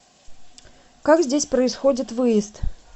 как здесь происходит выезд